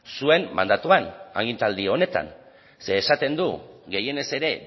zuen mandatuan agintaldi honetan zeren esaten du gehienez ere